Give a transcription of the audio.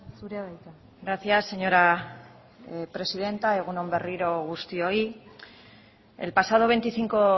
zurea da hitza gracias señora presidenta egun on berriro guztioi el pasado veinticinco